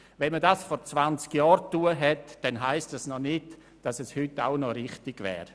Wenn man dies vor 20 Jahren getan hat, heisst das noch nicht, dass es auch heute noch richtig wäre.